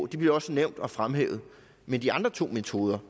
de bliver også nævnt og fremhævet men de andre to metoder